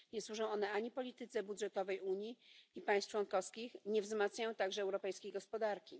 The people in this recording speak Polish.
Nie służą one polityce budżetowej Unii i państw członkowskich, nie wzmacniają także europejskiej gospodarki.